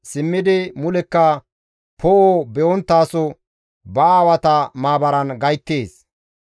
simmidi mulekka poo7o be7onttaso ba aawata maabaran gayttees.